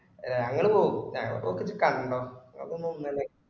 അല്ല ഞങ്ങള് പോകും ഞങ്ങളപ്പോക്ക് ഇജ് കണ്ടോ